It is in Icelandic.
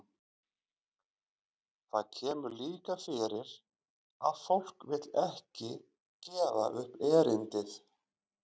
Það kemur líka fyrir að fólk vill ekki gefa upp erindið.